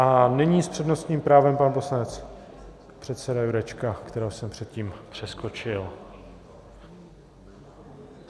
A nyní s přednostním právem pan poslanec předseda Jurečka, kterého jsem předtím přeskočil.